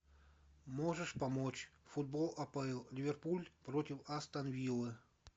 можешь помочь футбол апл ливерпуль против астон виллы